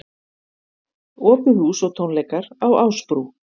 Opið hús og tónleikar á Ásbrú